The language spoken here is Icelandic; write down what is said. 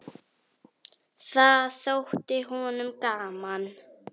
Það þótti honum gaman.